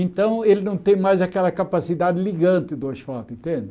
Então ele não tem mais aquela capacidade ligante do asfalto, entende?